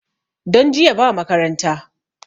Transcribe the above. Don jiya ba makaranta